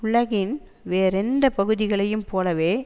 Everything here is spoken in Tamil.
உலகின் வேறெந்த பகுதிகளையும் போலவே